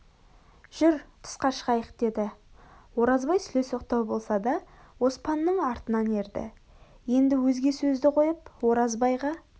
жүр тысқа шығайық деді оразбай сүлесоқтау болса да оспанның артынан ерді енді өзге сөзді қойып оразбайға